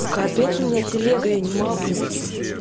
капец у меня телега я не могу